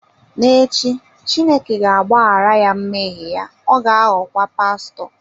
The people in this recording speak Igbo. N'echi, Chineke ga-agbaghara ya mmehie ya, ọ ga-aghọkwa pastọ.